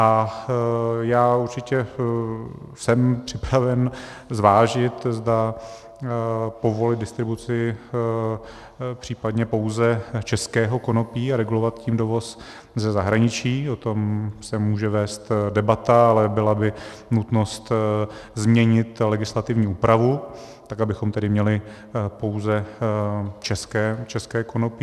A já určitě jsem připraven zvážit, zda povolit distribuci případně pouze českého konopí a regulovat tím dovoz ze zahraničí, o tom se může vést debata, ale byla by nutnost změnit legislativní úpravu tak, abychom tedy měli pouze české konopí.